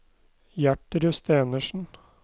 Gjertrud Stenersen